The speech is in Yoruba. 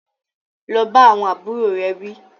Lọ bá àwọn àbúrò rẹ̀ wí